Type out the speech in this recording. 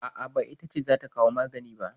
A'a, ba ita ce za ta kawo magani ba.